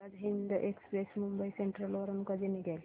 Azad Hind Express Mumbai Central वरून कधी निघेल